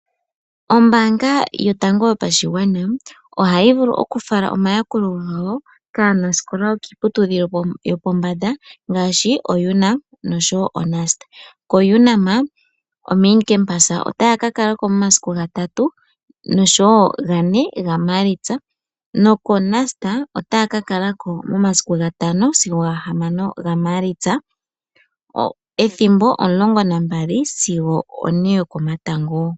Oombaanga yotango yopashigwana ohayi vulu okufala omayakulo gawo kaanaskola yokiiputudhilo yopombanda ngaashi oUNAM noshowo koNUST. KoUNAM (main campus)otaya kakala ko momasiku gatatu noshowo gane gaMaalitsa nokoNUST otaya kakala ko momasiku gatano sigo gahamano gaMaalitsa ethimbo opo 12am sigo opo 4pm yokomatango.